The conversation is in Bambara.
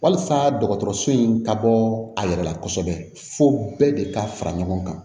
Walasa dɔgɔtɔrɔso in ka bɔ a yɛrɛ la kosɛbɛ fo bɛɛ de ka fara ɲɔgɔn kan